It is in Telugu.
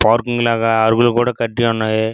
పార్కింగ్ లాగా అరుగులు కూడా కట్టి ఉన్నాయి.